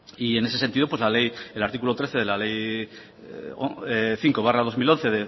y en ese sentido pues la ley el artículo trece de la ley cinco barra dos mil once